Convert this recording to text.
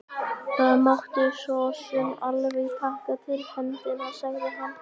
Það mátti sosum alveg taka til hendinni, sagði hann.